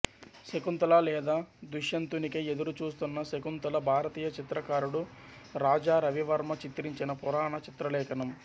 శకుంతల లేదా దుష్యంతునికై ఎదురు చూస్తున్న శకుంతల భారతీయ చిత్రకారుడు రాజా రవివర్మ చిత్రించిన పురాణ చిత్రలేఖనం